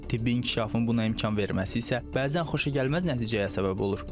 Tibbi inkişafın buna imkan verməsi isə bəzən xoşagəlməz nəticəyə səbəb olur.